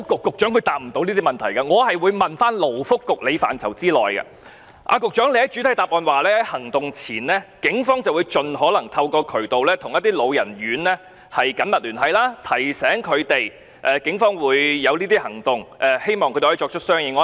局長在主體答覆指出，警方在行動前會盡可能透過各種渠道與一些老人院舍緊密聯繫，提醒他們警方可能採取的行動，希望他們可以作出相應安排。